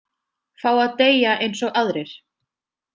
Fá að deyja eins og aðrir.